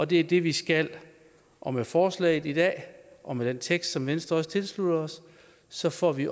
det er det vi skal og med forslaget i dag og med den tekst som venstre også tilslutter sig får vi